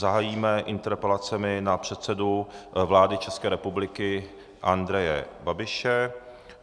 Zahájíme interpelacemi na předsedu vlády České republiky Andreje Babiše.